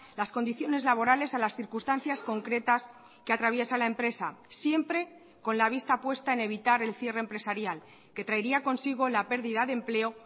las condiciones laborales a las circunstancias concretas que atraviesa la empresa siempre con la vista puesta en evitar el cierre empresarial que traería consigo la pérdida de empleo